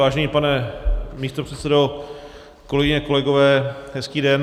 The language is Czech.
Vážený pane místopředsedo, kolegyně, kolegové, hezký den.